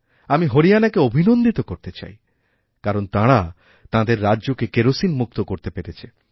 আমি হরিয়ানাকে অভিনন্দিত করতে চাই কারণ তাঁরা তাঁদেররাজ্যকে কেরোসিনমুক্ত করতে পেরেছে